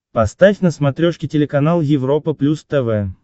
поставь на смотрешке телеканал европа плюс тв